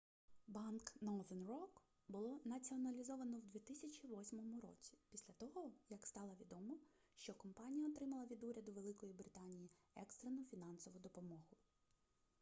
банк northern rock було націоналізовано в 2008 році після того як стало відомо що компанія отримала від уряду великої британії екстрену фінансову допомогу